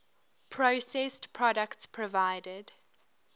processed products provided